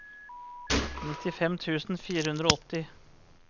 nittifem tusen fire hundre og åtti